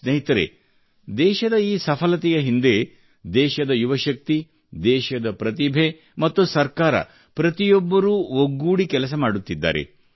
ಸ್ನೇಹಿತರೆ ದೇಶದ ಈ ಸಫಲತೆಯ ಹಿಂದೆ ದೇಶದ ಯುವಶಕ್ತಿ ದೇಶದ ಪ್ರತಿಭೆ ಮತ್ತು ಸರ್ಕಾರ ಪ್ರತಿಯೊಬ್ಬರೂ ಒಗ್ಗೂಡಿ ಕೆಲಸ ಮಾಡುತ್ತಿದ್ದಾರೆ